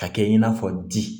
Ka kɛ i n'a fɔ di